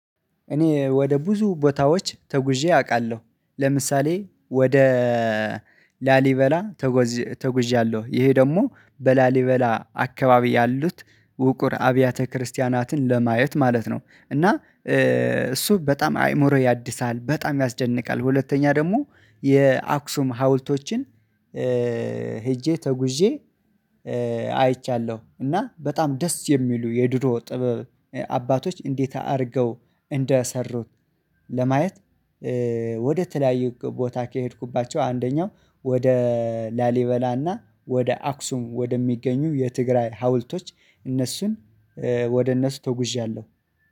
እኔ ወደ ብዙ ቦታዎች ተጉዤ አውቃለሁ ለምሳሌ ወደ ላሊበላ ተጎዣለሁ። ይሄ ደግሞ በላሊበላ አካባቢ ያሉት ውቁር አብያተ ክርስቲያናትን ለማየት ማለት ነው እና እሱ በጣም አይምሮ ያድሳል በጣም ያስደንቃል። ሁለተኛ ደግሞ የአክሱም ሀውልቶችን ሄጄ ተጉዤ አይቻለሁ። እና በጣም ደስ የሚሉ የድሮ ጥበብ አባቶች እንዴት አድርገው እንደሰሩት። ለማየት ወደ ተለያዩ ቦታ ከሄድኩባቸው አንደኛው ወደ ላሊበላና ወደ አክሱም ወደሚገኙ የትግራይ ሀውልቶች እነሱን ወደ እነሱ ተጉዣለሁ።